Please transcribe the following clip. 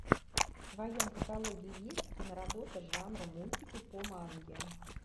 в твоем каталоге есть киноработа жанра мультики по манге